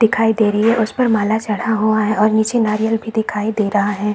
दिखाई दे रही है उस पे माला चढ़ा हुआ है और नारियल भी दिखाई दे रहा है।